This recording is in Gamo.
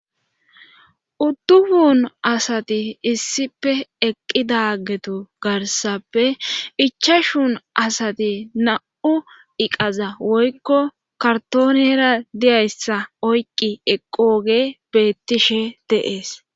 udduhun asati issipe eqqi daagetu garsappe icha shuun asati na7u iqaza woykko kartoonera diyayssa oyqqi eqqooge beettishe deees